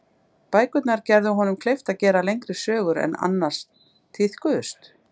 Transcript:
Bækurnar gerðu honum kleift að gera lengri sögur en annars tíðkuðust.